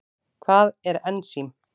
Hvað er ensím?